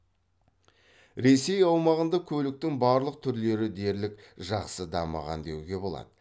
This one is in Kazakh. ресей аумағында көліктің барлық түрлері дерлік жақсы дамыған деуге болады